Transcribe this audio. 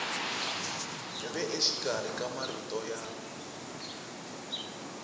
ve exikarhi ka marito ya